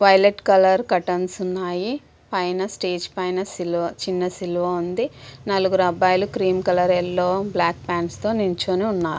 Violet colour curtains ఉన్నాయి పైన stage పైన్ చిన్న సిలువ ఉంది. నలుగురు అబ్బాయిలు cream colour yellow black pants తో నించొని ఉన్నారు .